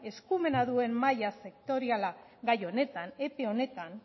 eskumena duen mahaia sektoriala gai honetan epe honetan